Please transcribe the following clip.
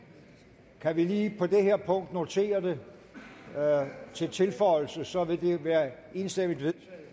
kan vi lige på det her punkt notere det som tilføjelse for så vil det være enstemmigt vedtaget